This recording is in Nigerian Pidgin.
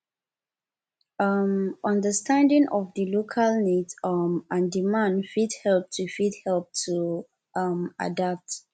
um understanding of di local needs um and demand fit help to fit help to um adapt